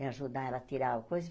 E ajudar ela a tirar a coisa.